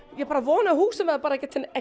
ég bara vona að húsin verði bara ekki